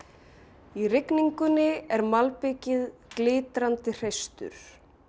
í rigningunni er malbikið glitrandi hreistur